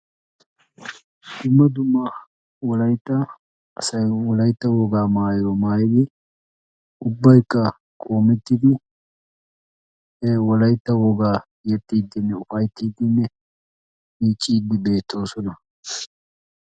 Dumma dumma wolaytta wogaan wolaytta wogaa maayuwaa maayidi ubbayikka qoomettidi wolaytta wogaa yexxiidinne ufayttiidinne miiccidi beettoosona.